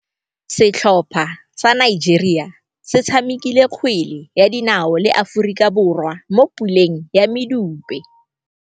Setlhopha sa Nigeria se tshamekile kgwele ya dinaô le Aforika Borwa mo puleng ya medupe.